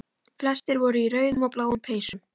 Flestir voru í rauðum og bláum peysum.